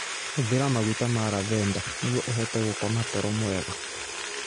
Hũthĩra maguta ma lavender nĩguo ũhote gũkoma toro mwega.